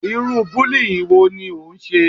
Irú bullying wo ni ó ń ṣe?